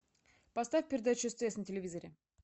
поставь передачу стс на телевизоре